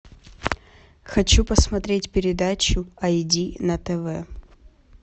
хочу посмотреть передачу ай ди на тв